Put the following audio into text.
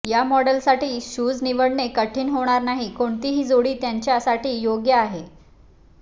या मॉडेलसाठी शूज निवडणे कठीण होणार नाही कोणतीही जोडी त्यांच्यासाठी योग्य आहे